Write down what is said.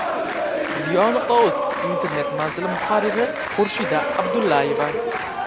Ziyo.uz Internet manzili muharriri Xurshida Abdullayeva.